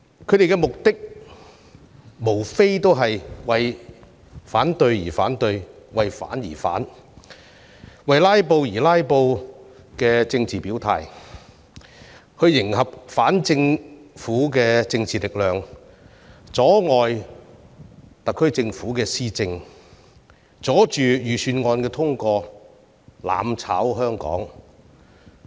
他們的目的，無非是為反對而反對，以為反而反、為"拉布"而"拉布"的政治表態來迎合反政府的政治力量，阻礙特區政府施政，阻礙預算案通過，希望"攬炒"香港。